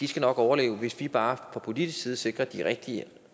skal overleve hvis vi bare fra politisk side sikrer de rigtige